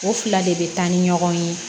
O fila de bɛ taa ni ɲɔgɔn ye